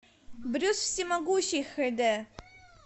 брюс всемогущий хд